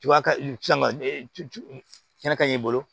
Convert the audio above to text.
Tuba ka sin ka kɛnɛ ka ɲi i bolo